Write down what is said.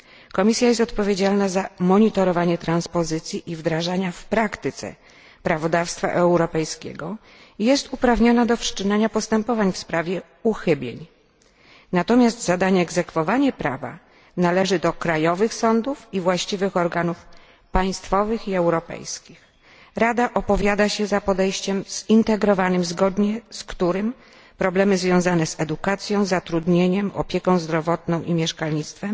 Komisja jest odpowiedzialna za monitorowanie transpozycji i wdrażania w praktyce prawodawstwa europejskiego i jest uprawniona do wszczynania postępowań w sprawie uchybień, natomiast zadanie egzekwowania prawa należy do krajowych sądów i właściwych organów państwowych i europejskich. Rada opowiada się za podejściem zintegrowanym zgodnie z którym problemy związane z edukacją, zatrudnieniem, opieką zdrowotną i mieszkalnictwem